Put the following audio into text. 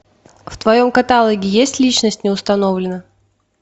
в твоем каталоге есть личность не установлена